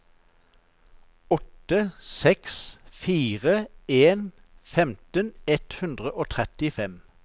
åtte seks fire en femten ett hundre og trettifem